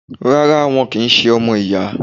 Rárá, wọn kì í ṣe ọmọ ìyá.